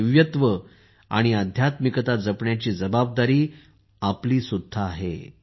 हे दिव्यत्व आणि अध्यात्मिकता जपण्याची जबाबदारी आपली आहे